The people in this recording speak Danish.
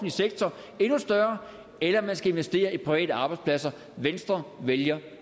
sektorer endnu større eller man skal investere i private arbejdspladser venstre vælger